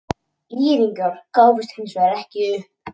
ÍR-ingar gáfust hins vegar ekki upp.